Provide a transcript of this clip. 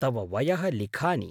तव वयः लिखानि।